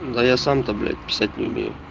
да я сам то блять писать не умею